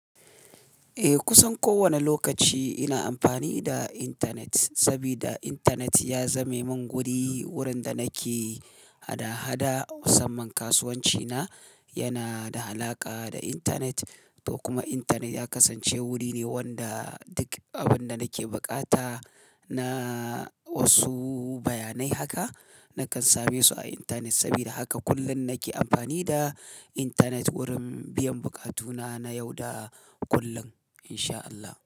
Eh, kusan kowane lokaci ina amfani da intanet, saboda intanet ya zame min wuri wurin da nake hada-hada. Musamman kasuwanci na yana da alaƙa da intanet, to kuma intanet ya kasance wuri ne wanda duk abin da nake bukata na wasu bayanai haka, nakan same su a intanet. Saboda haka kullum nake amfani da intanet wurin biyan buƙatuna na yau da kullum insha Allah.